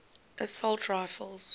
assault rifles